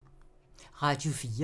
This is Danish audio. Radio 4